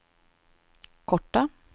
korta